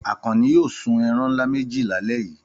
Àkànní yóò sun ẹran ńlá méjì lálẹ́ yìí!